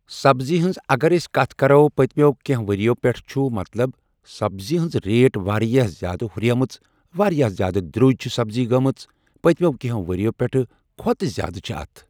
سَبزی ہٕنٛز اَگر أسۍ کَتھ کرو پَتمٮ۪و کیٚنٛہہ ؤریو پٮ۪ٹھ چھُ مطلب سَبزی ہٕنٛز ریٹ واریاہ زیادٕ ہُریمٕژ واریاہ زیادٕ دروٚجۍ چھِ سبزی گٔمٕژ پَتمٮ۪و کٚیٚنٛہہ ؤریو پٮ۪ٹھ کھوتہٕ زیادٕ چھ اَتھ ۔